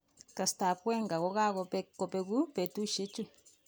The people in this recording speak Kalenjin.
Kasrtab Wenger kokakobek kobeku betushek chu.